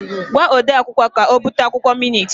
Gwa ode akwukwọ ka o bute akwụkwọ minit!